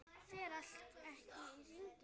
Fer ekki allt í hringi?